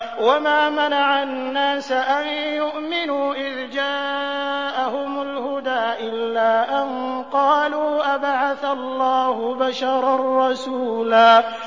وَمَا مَنَعَ النَّاسَ أَن يُؤْمِنُوا إِذْ جَاءَهُمُ الْهُدَىٰ إِلَّا أَن قَالُوا أَبَعَثَ اللَّهُ بَشَرًا رَّسُولًا